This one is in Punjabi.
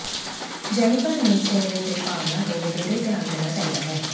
ਜੈਨੀਫ਼ਰ ਨੂੰ ਚਿਹਰੇ ਦੇ ਭਾਵਨਾ ਤੋਂ ਵਧੇਰੇ ਧਿਆਨ ਦੇਣਾ ਚਾਹੀਦਾ ਹੈ